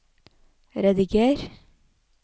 rediger